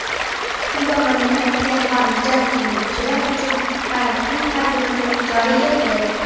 Kuba mamlakatga xorijdan keluvchilar uchun karantin tartibini joriy etdi.